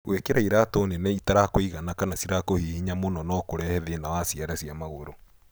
Gwĩkĩra iratũ nene itarakũigana kana cĩrakũhihinya mũno no kũrehe thĩna wa ciara cia magũrũ.